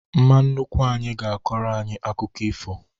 Mma nnukwu anyị ga-akọrọ anyị akụkọ ifo